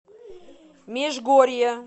межгорье